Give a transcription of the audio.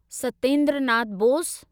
Satyendra Nath Bose